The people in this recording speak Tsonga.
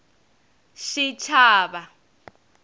xichava